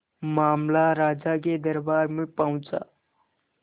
मामला राजा के दरबार में पहुंचा